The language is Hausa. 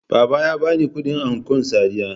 Baba ya bani kudin ankon Sadiya